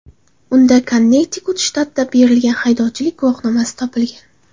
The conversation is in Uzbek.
Unda Konnektikut shtatida berilgan haydovchilik guvohnomasi topilgan.